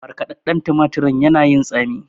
Markɗaɗɗan tumatirin yana yin tsami.